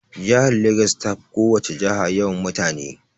Jihar Legas ta fi ko wace jiha yawan mutane.